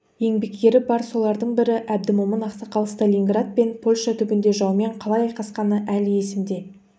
еңбеккері бар солардың бірі әбдімомын ақсақал сталинград пен польша түбінде жаумен қалай айқасқаны әлі есімде